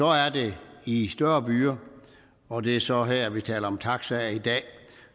er det i større byer og det er så her vi taler om taxaer i dag